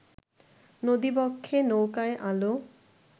নদীবক্ষে নৌকায় আলো